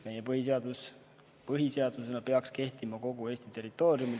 Meie põhiseadus peaks põhiseadusena kehtima kogu Eesti territooriumil.